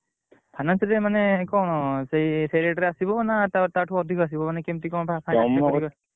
Finance ଯିଏ ମାନ କଣ ସେଇ ସେଇ rate ଆସିବ ନା ତା ତା ତାଠୁ ଅଧିକା ଆସିବ ମାନେ କେମିତି କଣ?